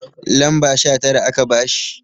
lamba Sha Tara aka bashi